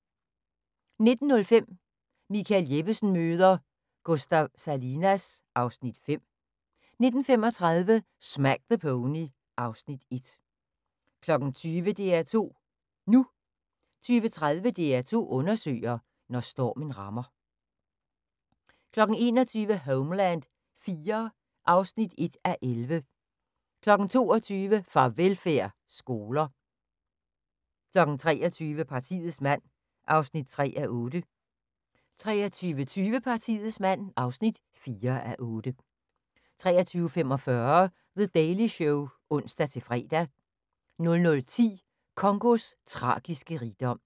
19:05: Michael Jeppesen møder ... Gustav Salinas (Afs. 5) 19:35: Smack the Pony (Afs. 1) 20:00: DR2 NU 20:30: DR2 undersøger: Når stormen rammer 21:00: Homeland IV (1:11) 22:00: Farvelfærd: Skoler 23:00: Partiets mand (3:8) 23:20: Partiets mand (4:8) 23:45: The Daily Show (ons-fre) 00:10: Congos tragiske rigdom